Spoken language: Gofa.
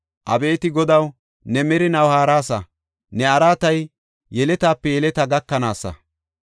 Abeeti Godaw, ne merinaw haarasa; ne araatay yeletaape yeletaa gakanaasa.